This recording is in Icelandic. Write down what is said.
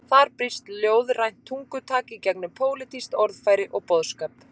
Þar brýst ljóðrænt tungutak í gegnum pólitískt orðfæri og boðskap.